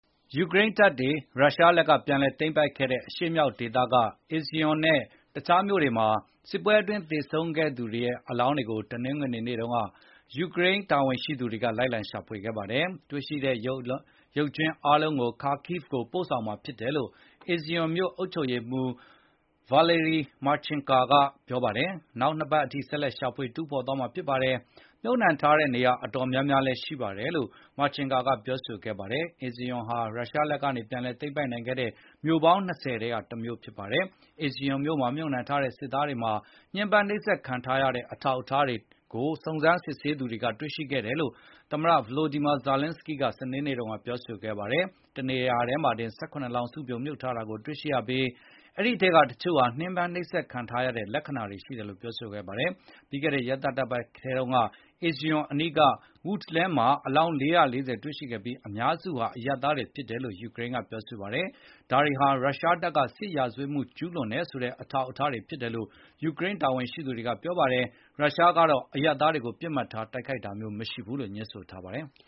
ယူကရိန်းတပ်တွေ ရုရှားလက်က ပြန်လည်သိမ်းပိုက်ခဲ့တဲ့ အရှေ့မြောက်ဒေသက Izium နဲ့ တခြားမြို့တွေမှာ စစ်ပွဲအတွင်း သေဆုံးသူတွေရဲ့ အလောင်းတွေကို တနင်္ဂနွေနေ့တုန်းက ယူကရိန်းတာဝန်ရှိသူတွေ လိုက်လံရှာဖွေခဲ့ပါတယ်။ တွေ့ရှိတဲ့ရုပ်ကြွင်း အားလုံးကို Kharkiv ကိုပို့ဆောင်မှာဖြစ်တယ်လို့ Izium မြို့အုပ်ချုပ်ရေးမှူး Valery Marchenko ကပြောပါတယ်။ နောက်နှစ်ပတ်အထိ ဆက်လက်ရှာဖွေ တူးဖေါ်သွားမှာဖြစ်ပါတယ်။ မြှုပ်နှံထားတဲ့ နေရာတွေအတော် များများ ရှိပါတယ်လို့လည်း Marchenko ကပြောဆိုခဲ့ပါတယ်။ Izium ဟာ ရုရှားလက်ကနေ ပြန်လည်သိမ်းပိုက်နိုင်ခဲ့တဲ့ မြို့ပေါင်း ၂၀ ထဲက တမြို့ဖြစ်ပါတယ်။ Izium မြို့မှာမြှုပ်နှံထားတဲ့ စစ်သားတွေမှာ ညှဉ်းပန်း နှိပ်စက်ခံထားရတဲ့ အထောက်အထားတွေကို စုံစမ်းစစ်ဆေးသူတွေက တွေ့ရှိခဲ့တယ်လို့ သမ္မတ Volodymyr Zelenskyy က စနေနေ့တုန်းက ပြောဆိုခဲ့ပါတယ်။ တနေရာထဲမှာတင် ၁၇ လောင်း စုပြုံ မြှုပ်နှံထားတာကို တွေ့ရှိခဲ့ရပြီး အဲဒီ အထဲက တချို့ဟာညှဉ်းပန်းနှိပ်စက် ခံထားရတဲ့ လက္ခဏာတွေ ရှိတယ်လို့လည်း ပြောဆိုခဲ့ပါတယ်။ ပြီးခဲ့တဲ့ ရက်သတ္တပတ်ထဲတုန်းက Izium အနီးက Woodlands မှာ အလောင်း ၄၄၀ ရှာဖွေတွေ့ရှိခဲ့ပြီး အများစုဟာ အရပ်သားတွေ ဖြစ်တယ်လို့ ယူကရိန်းက ပြောပါတယ်။ ဒါတွေဟာ ရုရှားတပ်တွေ စစ်ရာဇဝတ်မှု ကျူးလွန်တယ်ဆိုတဲ့ အထောက်အထားတွေ ဖြစ်တယ်လို့ ယူကရိန်း တာဝန်ရှိသူတွေက ပြောဆိုပါတယ်။ ရုရှားကတော့ အရပ်သားတွေကို ပစ်မှတ်ထား တိုက်ခိုက်တာ မရှိဘူးလို့ ငြင်းဆိုထားပါတယ်။